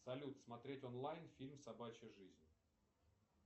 салют смотреть онлайн фильм собачья жизнь